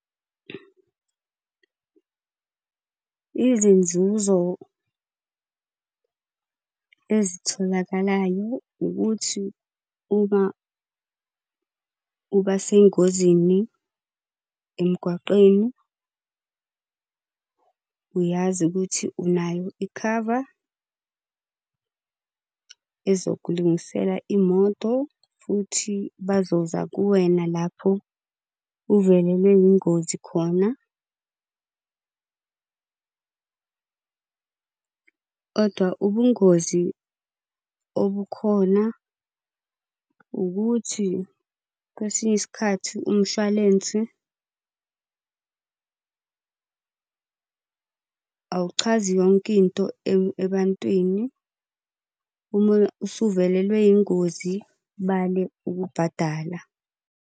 Izinzuzo ezitholakalayo ukuthi uma uba sengozini emgwaqeni uyazi ukuthi unayo ikhava ezokulungisela imoto, futhi bazoza kuwena lapho uvelelwe yingozi khona . Kodwa ubungozi obukhona ukuthi kwesinye isikhathi umshwalense awuchazi yonke into ebantwini. Uma usuvelelwe yingozi bale ukubhadala.